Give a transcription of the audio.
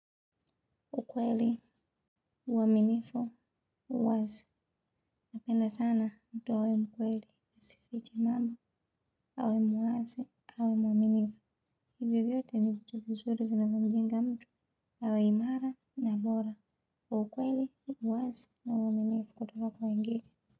Ukweli, uaminifu, uwazi. Napenda sana mtu awe mkweli, asifiche jambo, awe muwazi, awe mwaminifu. Hivyo vyote ni vitu vizuri vinavyomjenga mtu awe imara na bora. Ukweli, uwazi, na uaminifu kutoka kwa wengine.